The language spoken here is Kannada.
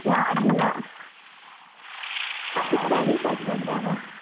ಯಾರಿಲ್ಲಾ studies ಆಗ್ತಾ ಇದೆಯಲ್ಲಾ.